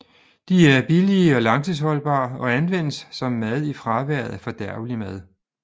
De er billige og langtidsholdbare og anvendes som mad i fraværet af fordærvelig mad